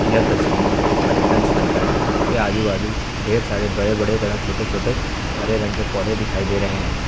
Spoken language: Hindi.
यह तस्वीर एक पर्यटन स्थल का है जिसके आजू बाजू ढेर सारे बड़े बड़े तरह छोटे छोटे हरे रंग के पौधे दिखाई दे रहे हैं।